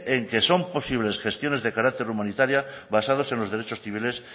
en que son posibles gestiones de carácter humanitaria basadas en los derechos civiles